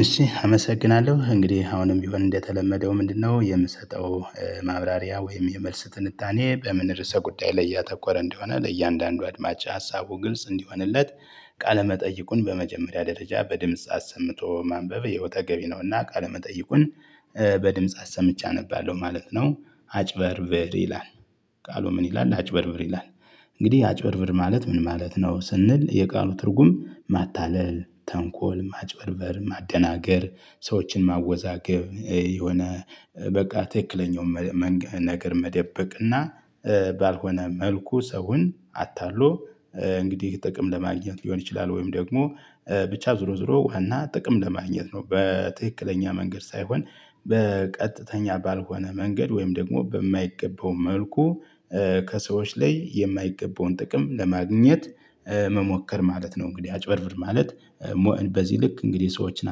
እሺ አመሰግናለሁ እንግዲህ አሁንም ቢሆን እንደተለመደው ምንድነው የምሰጠው ማብራሪያ ወይም የመልስ ትንታኔ በምን ርዕሰ ጉዳይ ላይ ያተኮረ እንደሆነ ለእያንዳንዱ አድማጭ ሀሳቡ ግልጽ እንዲሆንለት ቃለ መጠይቁን በመጀመሪያ ደረጃ በድምጽ አሰምቶ ማንበብ ያው ተገቢ ነውና ቃለ መጠይቁን በድምጽ አሰምቼ አነባለሁ ማለት ነው አጭበርብር ይላል ቃሉ ምን ይላል አጭበርብር ይላል እንግዲህ አጭበርብር ማለት ምን ማለት ነው ስንል የቃሉ ትርጉም ማታለል ተንኮል ማጭበርበር ማደናገር ሰዎችን ማወዛገብ የሆነ በቃ ትክክለኛውን ነገር መደበቅና ባልሆነ መልኩ ሰውን አታሎ እንግዲህ ጥቅም ለማግኘት ሊሆን ይችላል ወይም ደግሞ ብቻ ዞሮ ዞሮ ዋና ጥቅም ለማግኘት ነው በትክክለኛ መንገድ ሳይሆን በቀጥተኛ ባልሆነ መንገድ ወይም ደግሞ በማይገበው መልኩ ከሰዎች ላይ የማይገበውን ጥቅም ለማግኘት መሞከር ማለት ነው እንግዲህ አጭበርብር ማለት በዚህ ልክ እንግዲህ ሰዎችን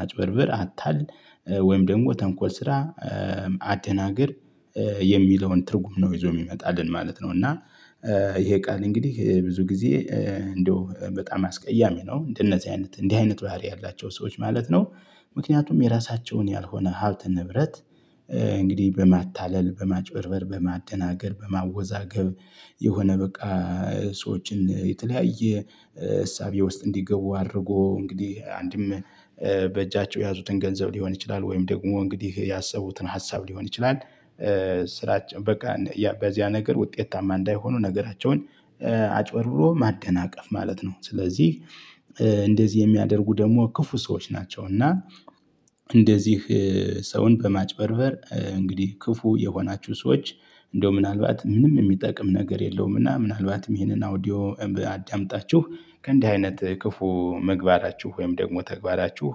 አጭበርብር አታልል ወይም ደግሞ ተንኮል ስራ አደናግር የሚለውን ትርጉም ነው ይዞ የሚመጣልን ማለት ነው። እና ይሄ ቃል እንግዲህ ብዙ ጊዜ እንደው በጣም አስቀያሚ ነው እንደነዚህ አይነት እንዲህ አይነት ባህሪ ያላቸው ሰዎች ማለት ነው ምክንያቱም የራሳቸውን ያልሆነ ሀብት ንብረት እንግዲህ በማታለል በማጭበርበር በማደናገር በማወዛገብ የሆነ በቃ ሰዎችን የተለያየ እሳቤ ውስጥ እንዲገቡ አድርጎ እንግዲህ አንድም በእጃቸው የያዙትን ገንዘብ ሊሆን ይችላል ወይም ደግሞ እንግዲህ ያሰቡትን ሀሳብ ሊሆን ይችላል ስራችን በቃ በዚያ ነገር ውጤታማ እንዳይሆኑ ነገራቸውን አጭበርብሮ ማደናቀፍ ማለት ነው። ስለዚህ እንደዚህ የሚያደርጉ ደግሞ ክፉ ሰዎች ናቸው እና እንደዚህ ሰውን በማጭበርበር እንግዲህ ክፉ የሆናችሁ ሰዎች እንደው ምናልባት ምንም የሚጠቅም ነገር የለውም እና ምናልባትም ይሄንን አውዲዮ አዳምጣችሁ ከእንዲህ አይነት ክፉ መግባራችሁ ወይም ደግሞ ተግባራችሁ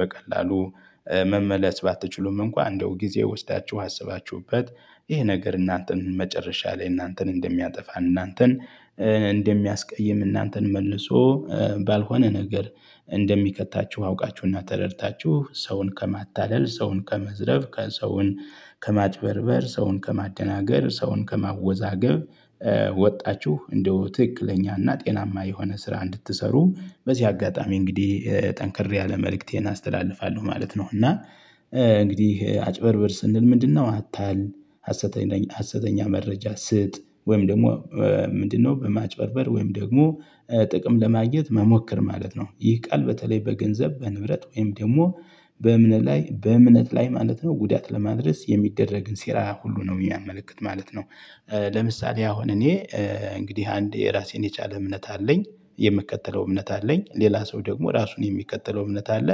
በቀላሉ መመለስ ባትችሉም እንኳን እንደው ጊዜ ወስዳችሁ አስባችሁበት ይህ ነገር እናንተን መጨረሻ ላይ እናንተን እንደሚያጠፋ እናንተን እንደሚያስቀይም እናንተን መልሶ ባልሆነ ነገር እንደሚከታችሁ አውቃችሁና ተረድታችሁ ሰውን ከማታለል ሰውን ከመዝረፍ ከሰውን ከማጥበርበር ሰውን ከማደናገር ሰውን ከማወዛገብ ወጣችሁ እንደው ትክክለኛና ጤናማ የሆነ ስራ እንድትሰሩ በዚህ አጋጣሚ እንግዲህ ጠንክሬ ያለ መልእክቴን አስተላልፋለሁ ማለት ነው። እና እንግዲህ አጭበርብር ስንል ምንድነው አታል አሰተኛ ሀሰተኛ መረጃ ስጥ ወይም ደግሞ ምንድነው በማጭበርበር ወይም ደግሞ ጥቅም ለማግኘት መሞከር ማለት ነው ይህ ቃል በተለይ በገንዘብ በንብረት ወይም ደግሞ በእምነት ላይ በእምነት ላይ ማለት ነው ጉዳት ለማድረስ የሚደረግን ሴራ ሁሉ ነው የሚያመለክት ማለት ነው። ለምሳሌ አሁን እኔ እንግዲህ አንዴ የራሴን የቻለ እምነት አለኝ የምትከተለው እምነት አለኝ ሌላ ሰው ደግሞ ራሱን የሚከተለው እምነት አለ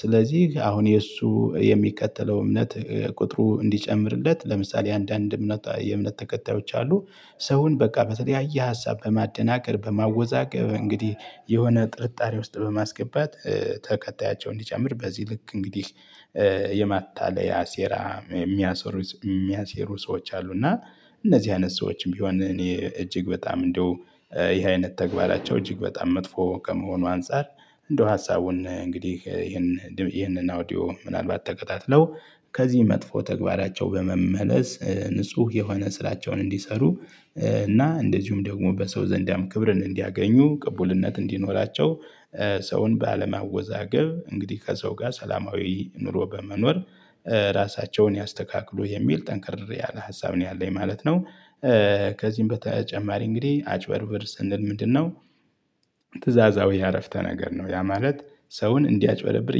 ስለዚህ አሁን የእሱ የሚቀጥለው እምነት ቁጥሩ እንዲጨምርለት ለምሳሌ አንዳንድ እምነት የእምነት ተከታዮች አሉ ሰውን በቃ በተለያየ ሀሳብ በማደናቀር በማወዛቀር እንግዲህ የሆነ ጥርጣሬ ውስጥ በማስገባት ተከታያቸውን ሊጀምር በዚህ ልክ እንግዲህ የማታለያ ሴራ የሚያሴሩ ሰዎች አሉ እና እነዚህ አይነት ሰዎችም ቢሆን እኔ እጅግ በጣም እንደው ይሄ አይነት ተግባራቸው እጅግ በጣም መጥፎ ከመሆኑ አንፃር እንደው ሀሳቡን እንግዲህ ይህንን አውዲዮ ምናልባት ተከታትለው ከዚህ መጥፎ ተግባራቸው በመመለስ ንጹህ የሆነ ስላቸውን እንዲሰሩ እና እንደዚሁም ደግሞ በሰው ዘንድ ያም ክብርን እንዲያገኙ ቅቡልነት እንዲኖራቸው ሰውን ባለማወዛገብ እንግዲህ ከሰው ጋር ሰላማዊ ኑሮ በመኖር ራሳቸውን ያስተካክሉ የሚል ጠንክር ያለ ሀሳብ ነው ያለኝ ማለት ነው። ከዚህም በተጨማሪ እንግዲህ አጭበርብር ስንል ምንድነው ትእዛዛዊ አረፍተ ነገር ነው ያ ማለት ሰውን እንዲያጭበረብር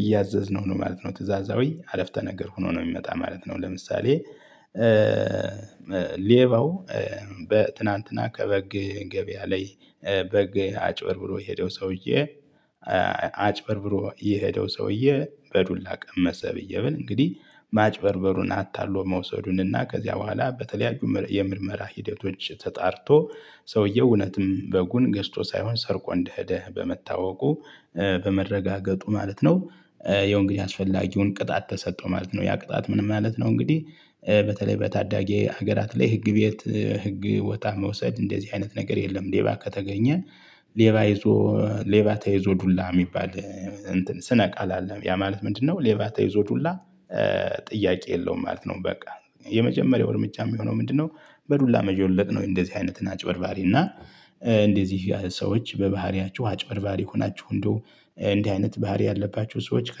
እያዘዝነው ነው ማለት ነው ትእዛዛዊ አረፍተ ነገር ሆኖ ነው የሚመጣ ማለት ነው። ለምሳሌ ሌባው ትናንትና ከበግ ገበያ ላይ በግ አጭበርብሮ የሄደው ሰውዬ አጭበርብሮ የሄደው ሰውዬ በዱላ ቀመሰ ብዬ ብል እንግዲህ ማጭበርበሩን አታሎ መውሰዱን እና ከዚያ በኋላ በተለያዩ የምርመራ ሂደቶች ተጣርቶ ሰውየው እውነትም በጉን ገዝቶ ሳይሆን ሰርቆ እንደሄደ በመታወቁ በመረጋገጡ ማለት ነው ያው እንግዲያ አስፈላጊውን ቅጣት ተሰጥቶ ማለት ነው ያ ቅጣት ምን ማለት ነው እንግዲህ በተለይ በታዳጊ ሀገራት ላይ ህግ ቤት ህግ ወጣ መውሰድ እንደዚህ አይነት ነገር የለም ሌባ ከተገኘ ሌባ ይዞ ሌባ ተይዞ ዱላ የሚባል ስነ ቃል አለ ያ ማለት ምንድነው ሌባ ተይዞ ዱላ ጥያቄ የለውም ማለት ነው በቃ የመጀመሪያው እርምጃ የሚሆነው ምንድነው በዱላ መዠለጥ ነው እንደዚህ አይነትን አጭበርባሪ እና እንደዚህ ሰዎች በባህሪያችሁ አጭበርባሪ ሆናችሁ እንደው እንዲህ አይነት ባህሪ ያለባችሁ ሰዎች ከ